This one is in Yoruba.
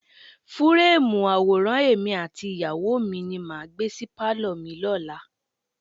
Fúúrèmù àwòrán èmi àti ìyàwó mi ni màá gbé sí pálọ̀ mi lọ́la.